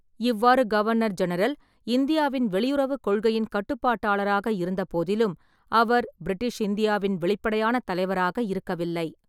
இவ்வாறு governor general இந்தியாவின் வெளியுறவுக் கொள்கையின் கட்டுப்பாட்டாளராக இருந்தபோதிலும், அவர் பிரிட்டிஷ் இந்தியாவின் வெளிப்படையான தலைவராக இருக்கவில்லை.